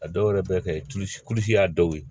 A dɔw yɛrɛ bɛ kɛ a dɔw ye